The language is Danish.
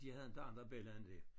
De havde inte andre bella end det